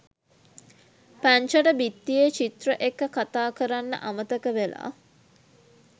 පැංචට බිත්තියේ චිත්‍ර එක්ක කතා කරන්න අමතක වෙලා